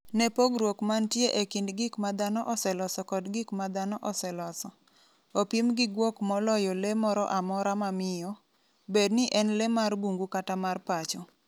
Ne pogruok mantie e kind gik ma dhano oseloso kod gik ma dhano oseloso. opim gi guok moloyo le moro amora mamiyo, bedni en le mar bungu kata mar pacho.